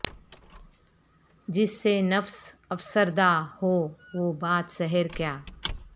جس سے نفس افسردہ ہو وہ باد سحر کیا